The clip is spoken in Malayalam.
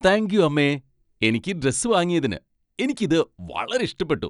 താങ്ക് യൂ അമ്മേ ! എനിക്ക് ഈ ഡ്രസ്സ് വാങ്ങിയതിന്, എനിക്ക് ഇത് വളരെ ഇഷ്ടപ്പെട്ടു.